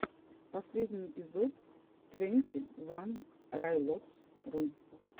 последний эпизод твенти ван райлотс ру